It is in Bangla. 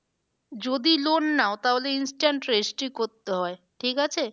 যদি loan নাও তাহলে instant registry করতে হয় ঠিক আছে।